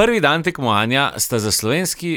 Prvi dan tekmovanja sta za slovenski